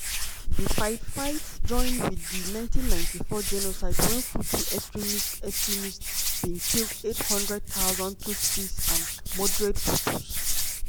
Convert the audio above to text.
di fight-fight join wit di 1994 genocide wen hutu extremists extremists bin kill 800000 tutsis and moderate hutus.